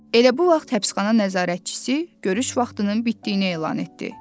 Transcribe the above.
Elə bu vaxt həbsxana nəzarətçisi görüş vaxtının bitdiyini elan etdi.